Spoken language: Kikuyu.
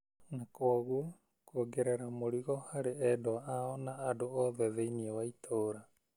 na kwoguo kuogerera mũrigo harĩ endwa ao na andũ othe thĩinĩ wa itũũra.